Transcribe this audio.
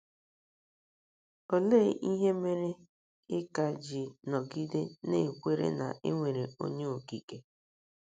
Olee ihe mere ị ka ji nọgide na - ekwere na e nwere Onye Okike?